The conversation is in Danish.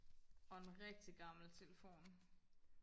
og en rigtig gammel telefon